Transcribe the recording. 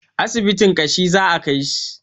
Asibitin ƙashi za a kaishi